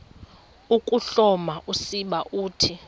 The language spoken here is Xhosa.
ukuhloma usiba uthi